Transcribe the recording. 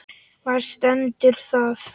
Hvar stendur það?